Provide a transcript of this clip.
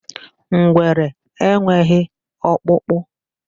Ngwere enweghị ọkpụkpụ.